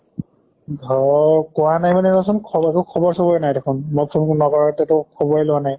ঘৰ কোৱা নাই মানে ৰʼ চোন খবৰ একো খবৰ চবৰ নাই দেখুন মই phone নকৰোতে খ্বৰে লোৱা নাই।